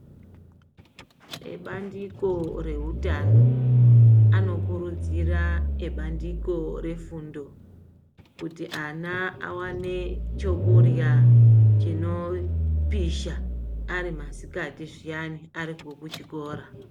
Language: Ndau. Ebandiko rehutano anokurudzira ebandiko refundo kuti ana awane chekurya chinopisha ari masikati zviyani ariko kuchikora.